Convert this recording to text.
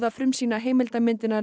frumsýna heimildarmyndina